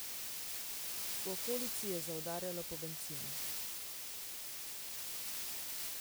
V okolici je zaudarjalo po bencinu.